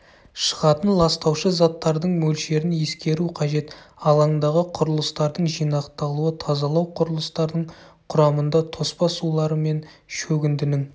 шығатын ластаушы заттардың мөлшерін ескеру қажет алаңдағы құрылыстардың жинақталуы тазалау құрылыстарының құрамында тоспа сулар мен шөгіндінің